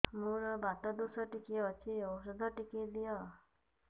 ମୋର୍ ବାତ ଦୋଷ ଟିକେ ଅଛି ଔଷଧ ଟିକେ ଦିଅ